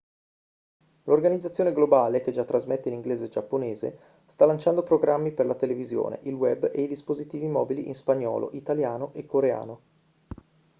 l'organizzazione globale che già trasmette in inglese e giapponese sta lanciando programmi per la televisione il web e i dispositivi mobili in spagnolo italiano e coreano